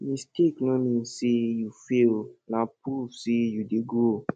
mistake no mean say you fail na proof say you dey grow